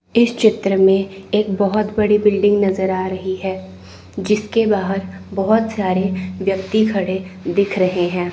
इस चित्र में एक बहोत बड़ी बिल्डिंग नजर आ रही है जिसके बाहर बहुत सारे व्यक्ति खड़े दिख रहे हैं।